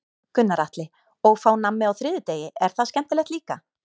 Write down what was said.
Gunnar Atli: Og fá nammi á þriðjudegi, er það skemmtilegt líka?